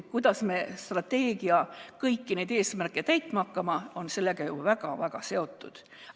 See, kuidas me strateegiaga kõiki eesmärke täitma hakkame, on sellega ju väga-väga seotud.